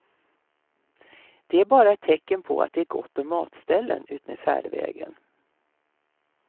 Det är bara ett tecken på att det är gott om matställen utmed färdvägen.